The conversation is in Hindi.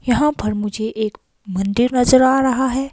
यहां पर मुझे एक मंदिर नजर आ रहा है।